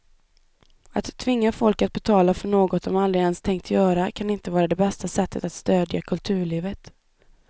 Att tvinga folk att betala för något de aldrig ens tänkt göra kan inte vara det bästa sättet att stödja kulturlivet.